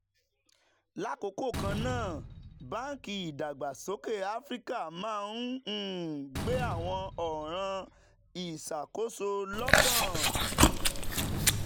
"lákòókò kan náà báńkì ìdàgbàsókè áfíríkà máa ń um gbé àwọn ọ̀ràn ìṣàkóso lokan.